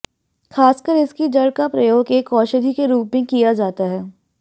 खासकर इसकी जड़ का प्रयोग एक औषधि के रूप में किया जाता है